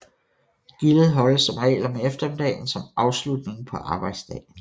Gildet holdes som regel om eftermiddagen som afslutning på arbejdsdagen